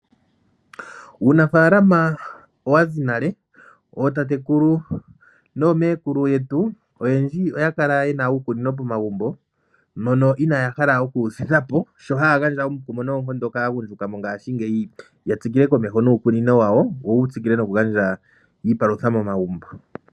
Uunafalama owazi nale, ootatekulu nomeekulu yetu oyendji oya kala yena uukunino pomagumbo mono inaaha okuuthingapo shono hashi gandja omukumo kaagundjuka yatsikile niikunino yawo, yo yi tsikile nokugandja iipalutha momagumbo.